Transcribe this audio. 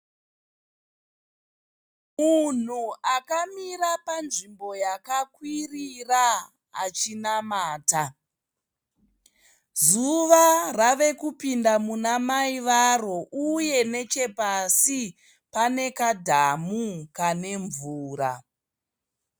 Munhu akamira panzvimbo yakakwirira achinamata zuva rave kupinda muna mai varo uye nechepasi pane kadhamu kane mvura.